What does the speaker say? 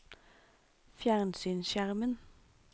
fjernsynsskjermen